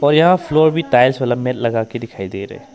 और यहां फ्लोर भी टाइल्स दिखाई दे रहे--